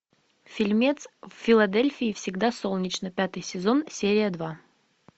фильмец в филадельфии всегда солнечно пятый сезон серия два